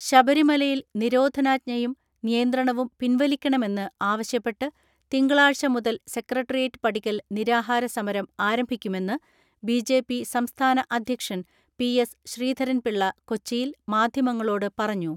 ശബരിമലയിൽ നിരോധനാജ്ഞയും നിയന്ത്രണവും പിൻവലിക്കണമെന്ന് ആവശ്യപ്പെട്ട് തിങ്കളാഴ്ച മുതൽ സെക്രട്ടറിയേറ്റ് പടിക്കൽ നിരാഹാര സമരം ആരംഭിക്കുമെന്ന് ബിജെപി സംസ്ഥാന അധ്യക്ഷൻ പി എസ് ശ്രീധരൻപിള്ള കൊച്ചിയിൽ മാധ്യമങ്ങളോട് പറഞ്ഞു.